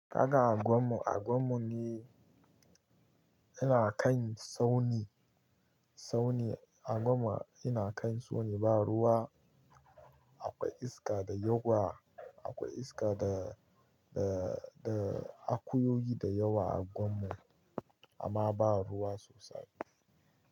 Kaga anguwan mu, anguwan mu ne yana kan tsauni, tsauni. Anguwan mu yana kan tsauni ba ruwa, akwai iska da yawa, akwai iska da, da, da akuyoyi da yawa a unguwan mu amma ba ruwa sosai.